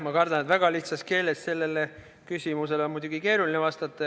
Ma kardan, et väga lihtsas keeles on sellele küsimusele muidugi keeruline vastata.